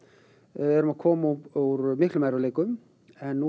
við erum að koma úr miklum erfiðleikum en núna